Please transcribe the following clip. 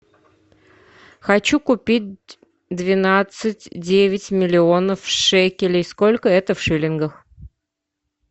хочу купить двенадцать девять миллионов шекелей сколько это в шиллингах